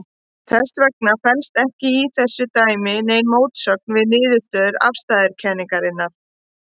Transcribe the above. Þess vegna felst ekki í þessu dæmi nein mótsögn við niðurstöður afstæðiskenningarinnar.